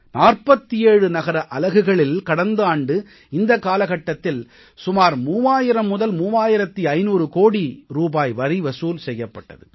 47 நகர அலகுகளில் கடந்த ஆண்டு இந்த காலகட்டத்தில் சுமார் 30003500 கோடி ரூபாய் வரி வசூல் செய்யப்பட்டது